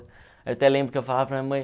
Eu até lembro que eu falava para a minha mãe...